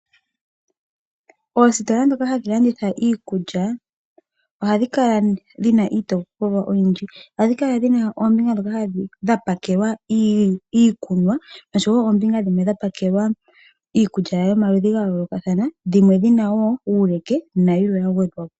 Oositola ndhoka hadhi landitha iikulya, ohadhi kala dhi na iitopolwa oyindji. Ohadhi kala dhi na oombinga ndhoka dha pakelwa iikunwa, nosho wo oombinga dhimwe dha pakelwa iikulya yomaludhi ga yoolokathana, dhimwe dhi na wo uuleke, nayilwe ya gwedhwa po.